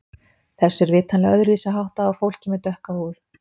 Þessu er vitanlega öðruvísi háttað á fólki með dökka húð.